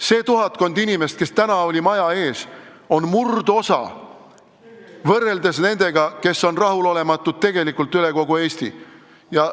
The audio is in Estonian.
See tuhatkond inimest, kes täna maja ees oli, on murdosa võrreldes nendega, kes on tegelikult üle kogu Eesti rahulolematud.